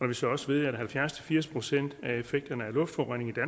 vi så også ved at halvfjerds til firs procent af effekten af luftforureningen